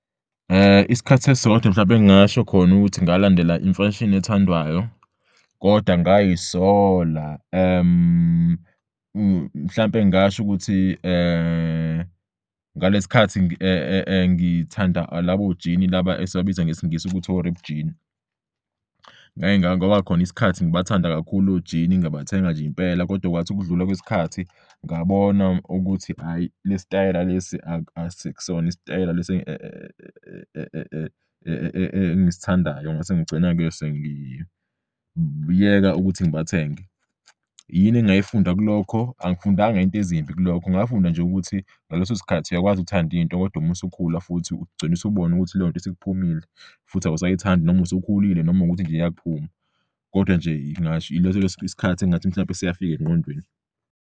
Isikhathi esisodwa mhlawumbe engingasho khona ukuthi ngalandela imfashini ethandwayo kodwa ngay'sola, mhlawumbe ngingasho ukuthi ngalesikhathi ngithanda labo jini laba esibabiza ngesingisi ukuthi o-ripped jean. Ngake kwaba khona isikhathi ngibathanda kakhulu ojini, ngabathenga nje impela kodwa kwathi ukudlula kwesikhathi, ngabona ukuthi hhayi, le sitayela lesi asikusona isitayela lesi engisithandayo, ngase ngigcina-ke sengiyeka ukuthi ngibathenge. Yini engayifunda kulokho? Angifundanga iy'nto ezimbi kulokho, ngafunda nje ukuthi ngaleso sikhathi uyakwazi ukuthanda into kodwa uma usukhula futhi ugcine usubona ukuthi leyo nto isikuphumile futhi awusayithandi noma usukhulile noma ukuthi nje iyakuphuma kodwa nje yileso sikhathi engingathi mhlawumbe siyafika engqondweni.